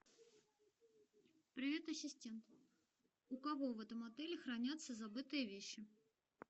привет ассистент у кого в этом отеле хранятся забытые вещи